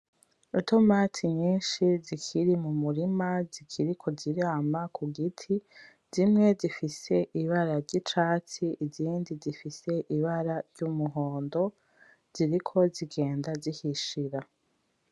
Itomoti nyishi zikiri mumurima zikiriko zirama kugiti. Zimye zifise ibara ry'icyatsi, izindi zifise ibara ry'umuhondo ziriko zigenda zihishira.